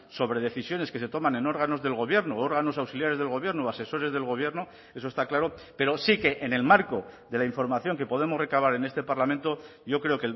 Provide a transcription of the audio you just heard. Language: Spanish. sobre decisiones que se toman en órganos del gobierno órganos auxiliares del gobierno o asesores del gobierno eso está claro pero sí que en el marco de la información que podemos recabar en este parlamento yo creo